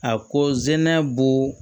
A ko zɛnɛ bo